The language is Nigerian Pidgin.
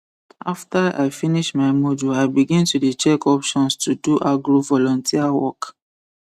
after i finish my module i begin to dey for check options to do agro volunteer work